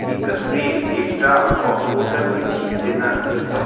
ई तस्वीर एकटा होटल के छी जेना जेतो --